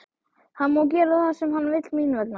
Hann má gera það sem hann vill mín vegna.